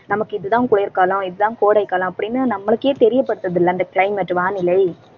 நமக்கு இதுதான் குளிர்காலம், இதுதான் கோடைக்காலம் அப்படின்னு நம்மளுக்கே தெரியப்படுத்துது இல்லை அந்த climate வானிலை